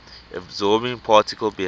absorbing particle behaves